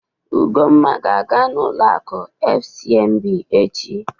Ugonma ga-aga n'ụlọ akụ FCMB echi.